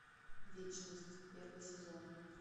вечность первый сезон